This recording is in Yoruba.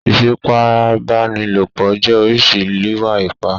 Ìfipábánilòpọ̀ jẹ́ oríṣi Ììwà-ipá.